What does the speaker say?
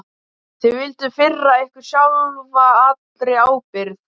Þið vilduð firra ykkur sjálfa allri ábyrgð.